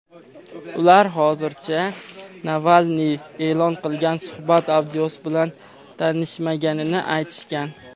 ular hozircha Navalniy e’lon qilgan suhbat audiosi bilan tanishmaganini aytishgan.